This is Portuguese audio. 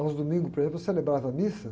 Aos domingos, por exemplo, eu celebrava a missa.